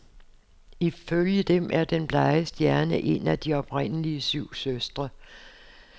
Ifølge dem er den blege stjerne en af de oprindelige syv søstre.